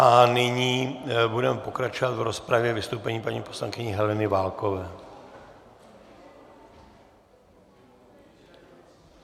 A nyní budeme pokračovat v rozpravě vystoupením paní poslankyně Heleny Válkové.